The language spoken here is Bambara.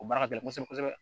O baara ka gɛlɛn kosɛbɛ kosɛbɛ